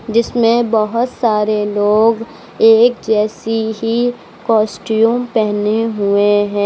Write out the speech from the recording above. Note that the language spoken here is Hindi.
जिसमे बहौत सारे लोग एक जैसी ही कॉस्ट्यूम पेहने हुए है।